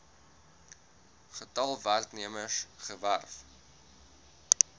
getal werknemers gewerf